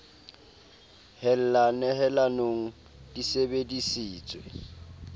hella nehelanong di sebe disitswe